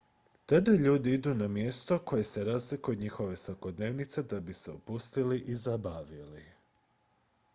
tada ljudi idu na mjesto koje se razlikuje od njihove svakodnevice da bi se opustili i zabavili